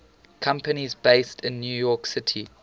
companies based in new york city